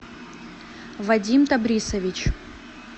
вадим табрисович